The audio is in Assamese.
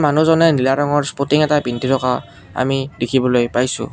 মানুহজনে নীলা ৰঙৰ স্পৰ্টিং এটা পিন্ধি আমি দেখিবলৈ পাইছোঁ।